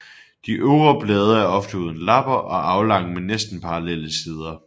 De øvre blade er ofte uden lapper og aflange med næsten parallelle sider